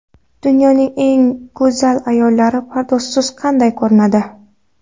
Dunyoning eng go‘zal ayollari pardozsiz qanday ko‘rinadi?